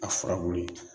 A furabulu ye